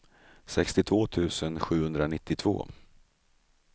sextiotvå tusen sjuhundranittiotvå